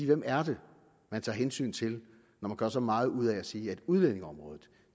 hvem er det man tager hensyn til når man gør så meget ud af at sige at udlændingeområdet